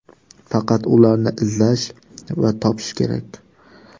Faqat ularni izlash va topish kerak.